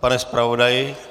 Pane zpravodaji?